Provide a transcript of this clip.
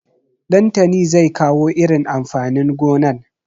Ɗantani zai kawo irin amfanin gonan.